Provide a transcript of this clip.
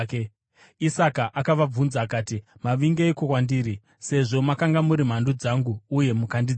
Isaka akavabvunza akati, “Mavingeiko kwandiri, sezvo makanga muri mhandu dzangu uye mukandidzinga?”